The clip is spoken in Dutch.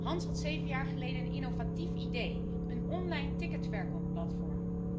Hans had zeven jaar geleden een innovatief idee een online ticketverkoopplatform.